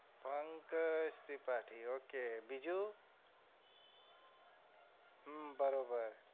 Pankaj Tripathi okay બીજું બરોબર